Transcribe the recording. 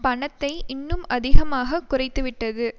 பணத்தை இன்னும் அதிகமாக குறைத்துவிட்டது